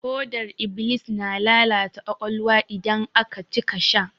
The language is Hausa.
Hodar iblis na lalata ƙwaƙwalwa idan aka cika sha.